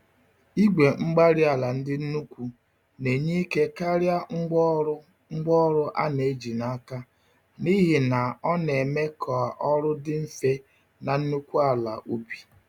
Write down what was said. Igwe-mgbárí-ala ndị nnukwu na-enye ike karịa ngwá ọrụ ngwá ọrụ a na-eji n'aka, n'ihi na ọ neme k'ọrụ dị mfe na nnukwu ala ubi